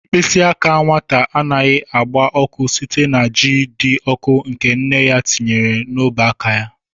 Mkpịsị aka nwata anaghị agba ọkụ site na ji dị ọkụ nke nne ya tinyere n'ọbụ aka ya.